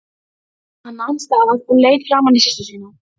En látum okkur nú sjá, já, látum okkur nú sjá.